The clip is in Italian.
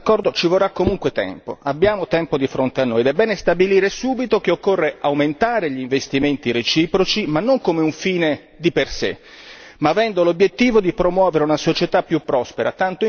Abbiamo tempo di fronte a noi ed è bene stabilire subito che occorre aumentare gli investimenti reciproci, ma non come un fine di per sé, ma avendo l'obiettivo di promuovere una società più prospera tanto in Cina quanto in Europa.